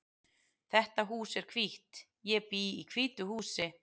Þetta hús er hvítt. Ég bý í hvítu húsi.